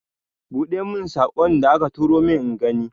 Buɗe mun saƙon da aka turo min ingani.